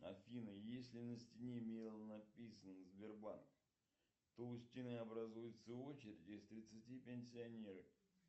афина если на стене мелом написано сбербанк то у стены образуется очередь из тридцати пенсионеров